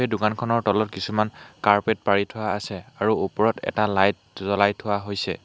এই দোকানখনৰ তলত কিছুমান কাৰ্পেট পাৰি থোৱা আছে আৰু ওপৰত এটা লাইট জ্বলাই থোৱা হৈছে।